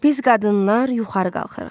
Biz qadınlar yuxarı qalxırıq.